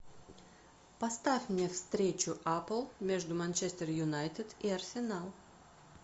поставь мне встречу апл между манчестер юнайтед и арсенал